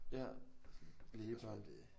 Ja lægebørn